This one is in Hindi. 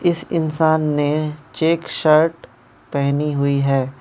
इस इंसान ने चेक शर्ट पहनी हुई है।